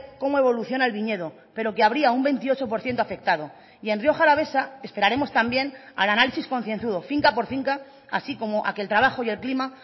cómo evoluciona el viñedo pero que habría un veintiocho por ciento afectado y en rioja alavesa esperaremos también al análisis concienzudo finca por finca así como a que el trabajo y el clima